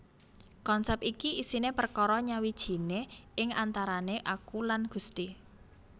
Konsèp iki isiné perkara nyawijiné ing antarané aku lan Gusti